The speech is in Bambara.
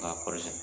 K'a kɔri sɛnɛ